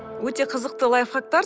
өте қызықты лайфхактар